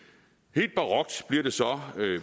helt barokt bliver det så